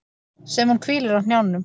Sem hún hvílir á hnjánum.